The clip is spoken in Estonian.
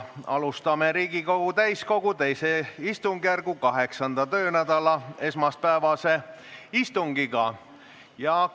Alustame Riigikogu täiskogu II istungjärgu 8. töönädala esmaspäevast istungit.